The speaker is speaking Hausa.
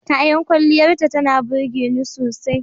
Kayan kwalliyarta tana burge ni sosai.